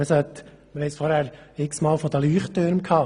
Wir hatten es vorher x-Mal von den Leuchttürmen.